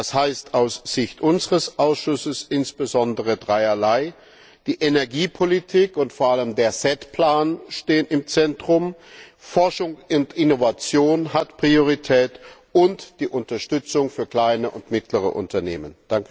Das heißt aus Sicht unseres Ausschusses insbesondere dreierlei Die Energiepolitik und vor allem der SET Plan stehen im Zentrum, Forschung und Innovation haben Priorität, ebenso wie die Unterstützung für kleine und mittlere Unternehmen.